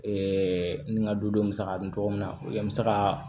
ni n ka dudenw musaka bɛ cogo min na n bɛ se ka